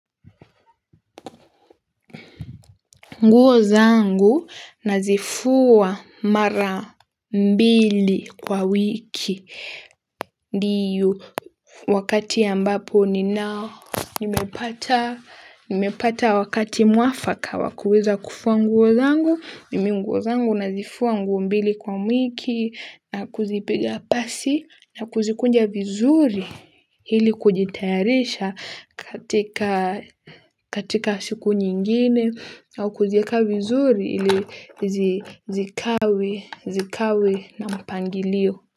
Nguo zangu nazifua mara mbili kwa wiki. Ndio wakati ambapo ni nao. Nimepata nimepata wakati mwafaka wakuweza kufua nguo zangu. Mimi nguo zangu nazifua nguo mbili kwa wiki na kuzipiga pasi na kuzikunja vizuri. Ili kujitayarisha katika siku nyingine au kuziweka vizuri zikawe na mpangilio.